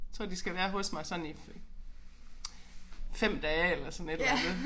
Tror de skal være hos mig sådan i 5 dage eller sådan et eller andet